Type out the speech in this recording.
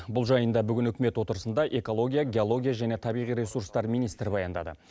бұл жайында бүгін үкімет отырысында экология геология және табиғи ресурстар министрі баяндады